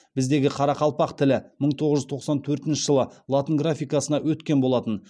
біздегі қарақалпақ тілі мың тоғыз жүз тоқсан төртінші жылы латын графикасына өткен болатын